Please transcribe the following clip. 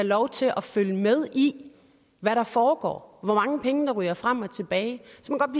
lov til at følge med i hvad der foregår og hvor mange penge der ryger frem og tilbage